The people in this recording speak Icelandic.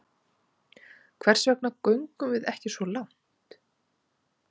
Hvers vegna göngum við ekki svo langt?